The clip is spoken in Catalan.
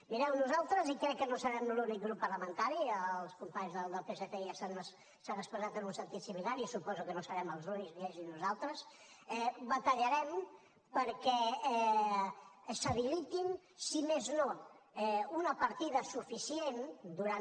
mireu nosaltres i crec que no serem l’únic grup parlamentari els companys del psc ja s’han expressat en un sentit similar i suposo que no serem els únics ni ells ni nosaltres batallarem perquè s’habiliti si més no una partida suficient durant